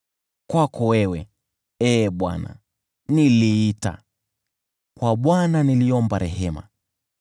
Kwako wewe, Ee Bwana , niliita, kwa Bwana niliomba rehema: